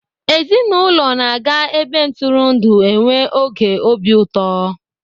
Ezinaụlọ na-aga ebe ntụrụndụ enwe oge obi ụtọ.